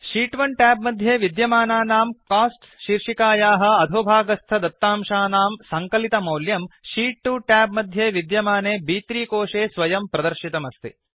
शीत् 1 tab मध्ये विद्यमानानां costs शीर्षिकायाः अधोभागस्थ दत्तांशानां सङ्कलितमौल्यं शीत् 2 ट्याब् मध्ये विद्यमाने ब्3 कोशे स्वयं प्रदर्शितमस्ति